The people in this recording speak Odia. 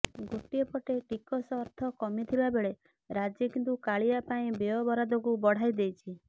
ଗୋଟିଏ ପଟେ ଟିକସ ଅର୍ଥ କମିଥିବା ବେଳେ ରାଜ୍ୟ କିନ୍ତୁ କାଳିଆ ପାଇଁ ବ୍ୟୟ ବରାଦକୁ ବଢ଼ାଇ ଦେଇଛି